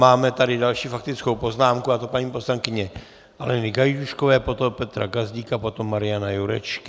Máme tady další faktickou poznámku, a to paní poslankyně Aleny Gajdůškové, potom Petra Gazdíka, potom Mariana Jurečky.